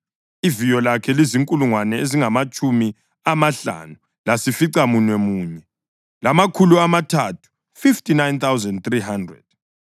Iviyo lakhe lizinkulungwane ezingamatshumi amahlanu lasificamunwemunye, lamakhulu amathathu (59,300).